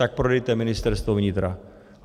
Tak prodejte Ministerstvo vnitra.